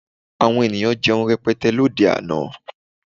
Àwọn ènìyàn jẹun rẹpẹtẹ lóde àná